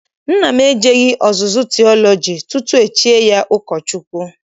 Nna m ejeghị ọzụzụ tiọlọji tutu e chie ya ụkọchukwu.